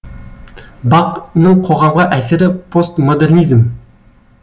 бақ ның қоғамға әсері постмодернизм